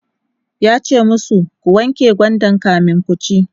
yace masu "ku wanke gwandan kamin kuci!"